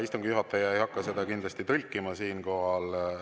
Istungi juhataja ei hakka seda kindlasti tõlkima siinkohal.